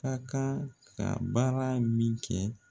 Ka kan ka baara min kɛ